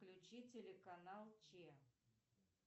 включи телеканал че